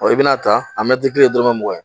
ni bina ta, a kelen ye dɔrɔmɛ mugan ye.